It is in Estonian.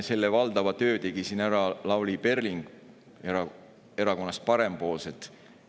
Valdavalt tegi siin töö ära Lavly Perling Erakonnast Parempoolsed.